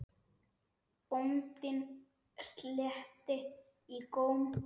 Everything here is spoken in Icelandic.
Bóndinn sletti í góm.